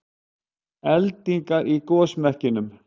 Eldingar í gosmekkinum